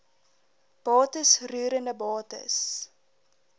bates roerende bates